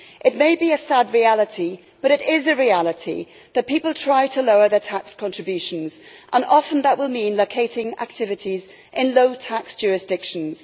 It may be a sad reality, but it is a reality that people try to lower their tax contributions, and often that will mean locating activities in low tax jurisdictions.